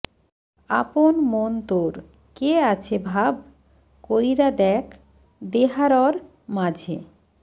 আপন মন তোর কে আছে ভাব কৈরা দেখ দেহারর মাঝে